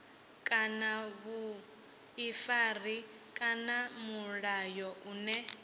kana vhuḓifari kana mulayo une